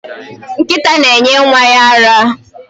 Nkịta na-enye nwa ya ara.